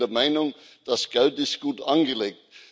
Aber ich bin der Meinung, das Geld ist gut angelegt.